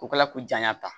O kɛla ko janya ta